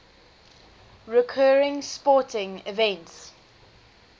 recurring sporting events